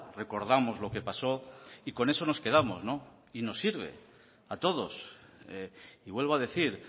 recordamos lo que pasó y con eso nos quedamos y nos sirve a todos y vuelvo a decir